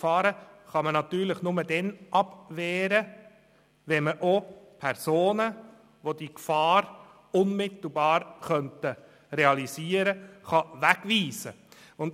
Gefahren kann man natürlich nur dann abwehren, wenn man Personen, die diese Gefahr unmittelbar realisieren können, wegweisen kann.